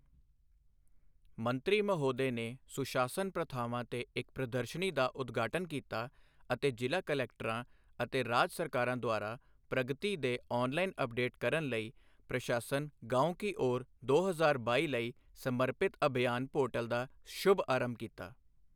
ਮੰਤਰੀ ਮਹੋਦਯ ਨੇ ਸੁਸ਼ਾਸਨ ਪ੍ਰਥਾਵਾਂ ਤੇ ਇੱਕ ਪ੍ਰਦਰਸ਼ਨੀ ਦਾ ਉਦਘਾਟਨ ਕੀਤਾ ਅਤੇ ਜ਼ਿਲ੍ਹਾ ਕਲੈਕਟਰਾਂ ਅਤੇ ਰਾਜ ਸਰਕਾਰਾਂ ਦੁਆਰਾ ਪ੍ਰਗਤੀ ਦੇ ਔਨਲਾਈਨ ਅਪਡੇਟ ਕਰਨ ਲਈ ਪ੍ਰਸ਼ਾਸਨ ਗਾਂਵ ਕੀ ਔਰ ਦੋ ਹਜ਼ਾਰ ਬਾਈ ਲਈ ਸਮਰਪਿਤ ਅਭਿਯਾਨ ਪੋਰਟਲ ਦਾ ਸ਼ੁਭਾਰੰਭ ਕੀਤਾ।